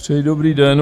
Přeji dobrý den.